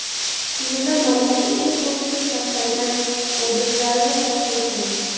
Quyida malika eng ko‘p pul sarflagan obrazlarini taqdim qilamiz.